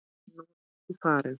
En nú ertu farin.